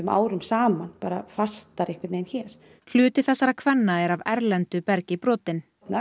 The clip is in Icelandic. árum saman bara fastar hér hluti þessara kvenna er af erlendu bergi brotinn